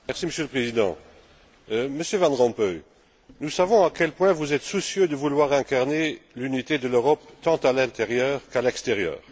Monsieur le Président, Monsieur Van Rompuy, nous savons à quel point vous êtes soucieux de vouloir incarner l'unité de l'Europe, tant à l'intérieur qu'à l'extérieur.